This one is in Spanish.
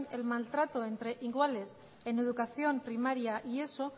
el maltrato entre iguales en educación primaria y eso